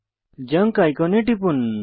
junk আইকনে টিপুন